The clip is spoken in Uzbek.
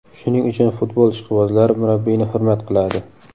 Shuning uchun futbol ishqibozlari murabbiyni hurmat qiladi.